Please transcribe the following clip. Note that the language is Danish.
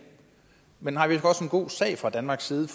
men har vi også en god sag fra danmarks side